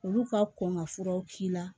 Olu ka kɔn ka furaw k'i la